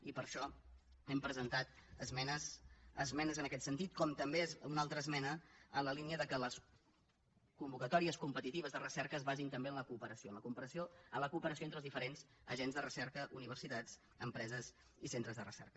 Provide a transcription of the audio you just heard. i per això hem presentat esmenes en aquest sentit com també una altra esmena en la línia que les convocatòries competitives de recerca es basin també en la cooperació entre els diferents agents de recerca universitats empreses i centres de recerca